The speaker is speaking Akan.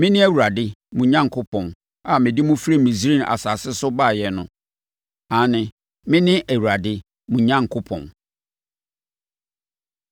Mene Awurade mo Onyankopɔn a mede mo firi Misraim asase so baeɛ no. Aane, mene Awurade mo Onyankopɔn.”